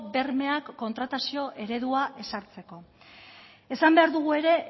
bermeak kontratazio eredua ezartzeko esan behar dugu ere